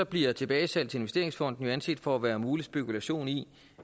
bliver tilbagesalg til investeringsfonden anset for at være mulig spekulation i